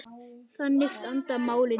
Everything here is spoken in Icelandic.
Þannig standa málin í dag.